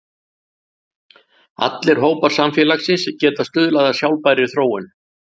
Allir hópar samfélagsins geta stuðlað að sjálfbærri þróun.